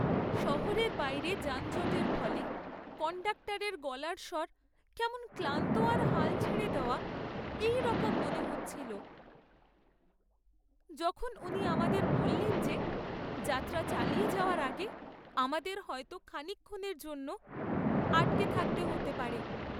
শহরের বাইরে যানজটের ফলে কণ্ডাক্টরের গলার স্বর কেমন ক্লান্ত আর হাল ছেড়ে দেওয়া এইরকম মনে হচ্ছিল যখন উনি আমাদের বললেন যে, যাত্রা চালিয়ে যাওয়ার আগে আমাদের হয়তো খানিকক্ষণের জন্য আটকে থাকতে হতে পারে।